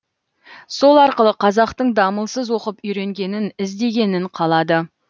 сол арқылы қазақтың дамылсыз оқып үйренгенін ізденгенін қалады